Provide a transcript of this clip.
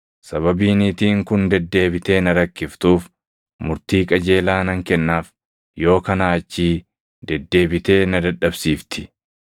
sababii niitiin kun deddeebitee na rakkiftuuf murtii qajeelaa nan kennaaf; yoo kanaa achii deddeebitee na dadhabsiifti.’ ”